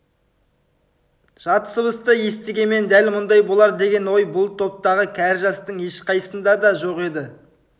жат сыбысты естігенмен дәл мұндай болар деген ой бұл топтағы кәрі-жастың ешқайсысында да жоқ еді